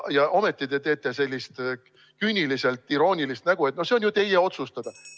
Ja ometi te teete sellist küüniliselt iroonilist nägu, et see on ju teie otsustada.